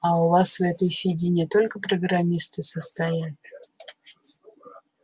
а у вас в этой фиде не только программисты состоят